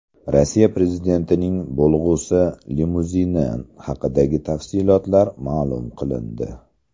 Rossiya prezidentining bo‘lg‘usi limuzini haqidagi tafsilotlar ma’lum qilindi.